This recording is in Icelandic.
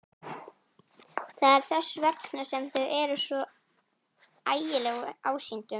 Það er þess vegna sem þau eru svo ægileg ásýndum.